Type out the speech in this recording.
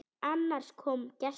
Annars kom gestur.